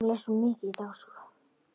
Sofðu rótt, hjartað mitt.